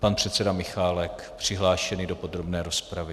Pan předseda Michálek přihlášený do podrobné rozpravy.